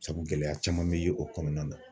Sabu gɛlɛya caman bɛ ye o kɔnɔna na